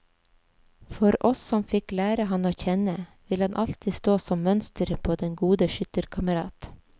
For oss som fikk lære ham å kjenne, vil han alltid stå som mønsteret på den gode skytterkamerat.